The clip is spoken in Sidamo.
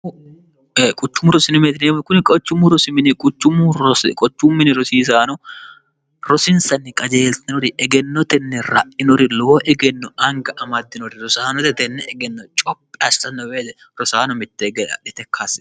quchummu rosinomeetnemo kunni qchummu rosiminiqucummu qochu mini rosiisaano rosinsanni qajeeltinori egennotenni ra'inori lowo egenno anga amaddinori rosaanotetenne egenno cophi asxannobeele rosaano mitte egeadhete kkaasse